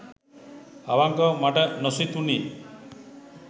අවංකවම මට නොසිතුණි.